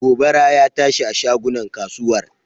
Gobara ya tashi a shagunan kasuwar.